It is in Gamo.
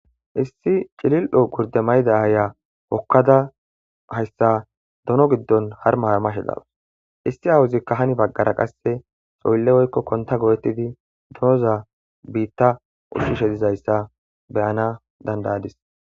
issi cilil7o gurde mayda ayiya hokkada hayssa dono giddon haruma harumashe betawus ssi awuzikka hani baggara qasse soylle woykko konta gooettidi dooza biitta uchishe dizayssa beyana dandayadis